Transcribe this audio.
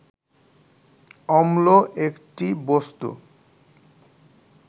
অম্ল একটি বস্তু